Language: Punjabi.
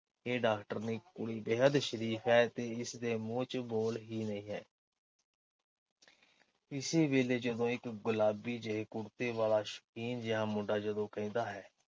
ਇਹ ਡਾਕਟਰਨੀ ਕੁੜੀ ਬੇਹੱਦ ਸ਼ਰੀਫ਼ ਹੈ ਤੇ ਇਸਦੇ ਮੂੰਹ ਚ ਬੋਲ ਹੀ ਨਹੀਂ ਹੈ। ਇਸੇ ਵੇਲੇ ਜਦੋਂ ਇੱਕ ਗੁਲਾਬੀ ਜਿਹੇ ਕੁੜਤੇ ਵਾਲਾ ਸ਼ੌਕੀਨ ਜਿਹਾ ਮੁੰਡਾ ਜਦੋਂ ਕਹਿੰਦਾ ਹੈ